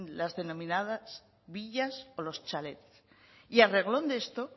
las denominadas villas o los chalets y a reglón de esto